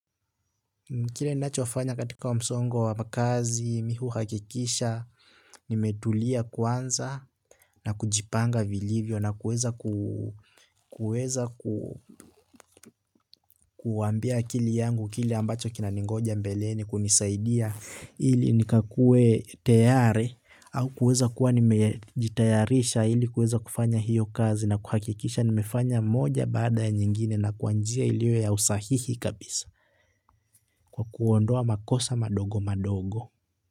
Kile ninachofanya katika msongo wa kazi mi huhakikisha nimetulia kwanza na kujipanga vilivyo na kuweza kuambia akili yangu kile ambacho kinaningoja mbeleni kunisaidia ili nikakue tayari au kuweza kuwa nimejitayarisha ili kuweza kufanya hiyo kazi na kuhakikisha nimefanya moja baada ya nyingine na kwa njia ilio ya usahihi kabisa kwa kuondoa makosa madogo madogo.